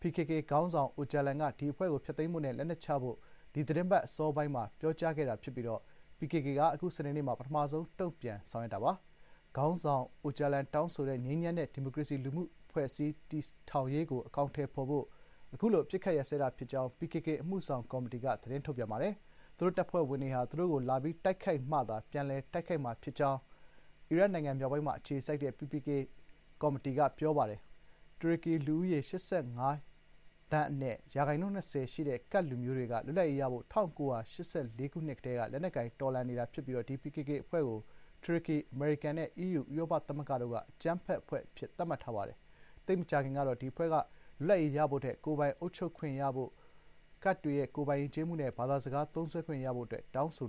PKK ခေါင်းဆောင် အိုဂျာလန်က အဖွဲ့ကို ဖျက်သိမ်းဖို့နဲ့ လက်နက်ချဖို့ ဒီသီတင်းပတ် အစောပိုင်းမှာ ပြောကြားခဲ့တာ ဖြစ်ပြီး PKK က အခု စနေနေ့မှာ ပထမဆုံးတုံ့ပြန်ဆောင်ရွက်တာပါ။ ခေါင်းဆောင် အိုဂျာလန်တောင်းဆိုတဲ့ ငြိမ်းချမ်းတဲ့ ဒီမိုကရေစီ လူမှုအဖွဲ့အစည်း တည်ထောင်ရေးကို အကောင်ထည်ဖေါ်ဖို့ အခုလို အပစ်အခတ် ရပ်စဲတာ ဖြစ်ကြောင်း PKK အမှုဆောင် ကော်မတီက သတင်း ထုတ်ပြန်ပါတယ်။ သူတို့ တပ်ဖွဲ့ဝင်တွေဟာ သူတို့ကို လာပြီးတိုက်ခိုက်မှသာ ပြန်လည် တိုက်ခိုက်မှာ ဖြစ်ကြောင်း အီရတ်နိုင်ငံ မြောက်ပိုင်းမှာ အခြေစိုက်တဲ့ PPK ကော်မတီက ပြောပါတယ်။ တူရကီလူဦးရေ ၈၅ သန်းမှာ ရာခိုင်နှုန်း ၂၀ ရှိနေတဲ့ ကဒ်လူမျိုးတွေက လွတ်လပ်ရေးရဖို့ ၁၉၈၄ ခုနှစ်ကတည်းက လက်နက်ကိုင် တော်လှန်နေတာ ဖြစ်ပြီး ဒီ PKK အဖွ့ဲကို တူရကီ၊ အမေရိကန်နဲ့ အီးယူ ဥရောပသမဂ္ဂ တို့က အကြမ်းဖက် အဖွဲ့အစည်း အဖြစ် ကြေညာထားတာပါ။ သိပ်မကြာခင်ကတော့ ဒီအဖွဲ့ကလွတ်လပ်ရေးရဖို့ထက် ကိုယ်ပိုင်အုပ်ချုပ်ခွင့်ပိုရဖို့၊ ကဒ်တွေရဲ့ ကိုယ်ပိုင်ယဉ်ကျေးမှုနဲ့ ဘာသာစကား သုံးစွဲခွင့်ရဖို့ အတွက် တောင်းဆို